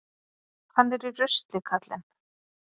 Hann er í rusli, karlinn.